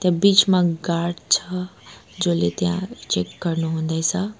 त्या बीचमा गार्ड छ जले त्यहाँ चेक गर्नु हुँदैछ।